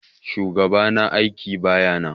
Shugaɓa na aiƙi baƴa nan.